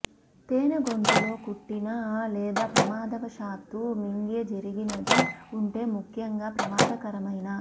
తేనె గొంతు లో కుట్టిన లేదా ప్రమాదవశాత్తూ మింగే జరిగినది ఉంటే ముఖ్యంగా ప్రమాదకరమైన